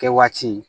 Kɛ waati